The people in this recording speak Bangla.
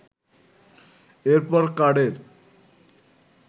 এরপর কার্ডের